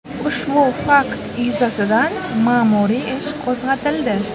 Ushbu fakt yuzasidan ma’muriy ish qo‘zg‘atildi.